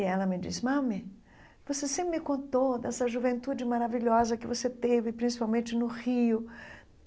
E ela me disse, mami, você sempre me contou dessa juventude maravilhosa que você teve, principalmente no Rio.